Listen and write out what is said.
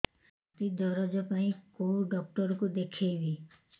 ଛାତି ଦରଜ ପାଇଁ କୋଉ ଡକ୍ଟର କୁ ଦେଖେଇବି